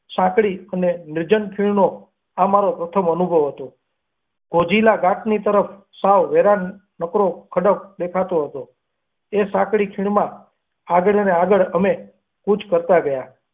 સાંકડી અને લીજં ખીણો આ મારો પ્રથમ અનુભવ હતો વેરાન નકરો ખડક દેખાનો હતી. એ સકડી ખીરામાં આગળ ને આગળ અમે કરતા ગયા.